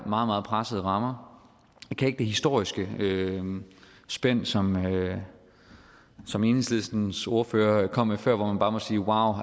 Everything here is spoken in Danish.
meget pressede rammer jeg kan ikke det historiske spænd som som enhedslistens ordfører kom med før hvor man bare må sige wauw